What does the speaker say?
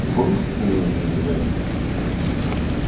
ты помнишь как они у меня лежали